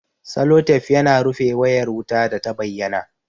Salotef yana rufe wayar wuta data bayyana